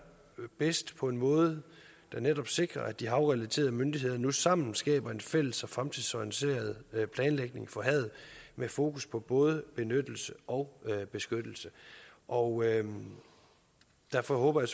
bedst på en måde der netop sikrer at de havrelaterede myndigheder nu sammen skaber en fælles og fremtidsorienteret planlægning for havet med fokus på både benyttelse og beskyttelse og derfor håber jeg